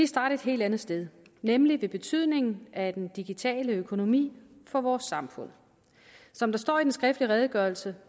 starte et helt andet sted nemlig ved betydningen af den digitale økonomi for vores samfund som der står i den skriftlige redegørelse